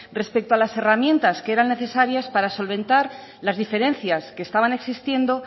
respecto a las herramientas que eran necesarias para solventar las diferencias que estaban existiendo